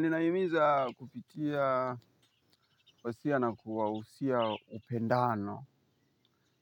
Ninahimiza kupitia usia na kuwauzia upendano